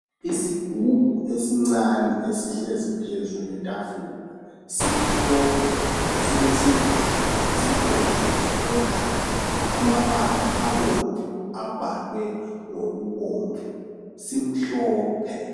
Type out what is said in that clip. Isigubhu esincane esihlezi phezulu kwetafula simhlophe silesivalo esibomvu okwegazi. Amabala abomvu abhalwe ngokubomvu simhlophe.